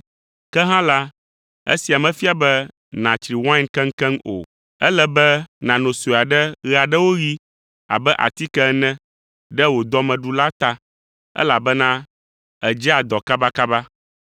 Ke hã la, esia mefia be nàtsri wain keŋkeŋ o. Ele be nàno sue aɖe ɣe aɖewo ɣi abe atike ene ɖe wò dɔmeɖu la ta, elabena èdzea dɔ kabakaba.